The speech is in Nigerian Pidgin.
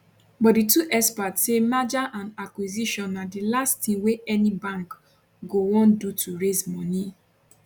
but di two experts say merger and acquisition na di last tin wey any bank go wan do to raise moni